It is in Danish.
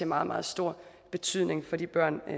meget meget stor betydning for de børn